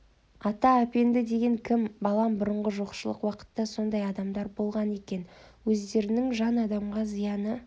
ата әпенді деген кім балам бұрынғы жоқшылық уақытта сондай адамдар болған екен өздерінің жан адамға зияны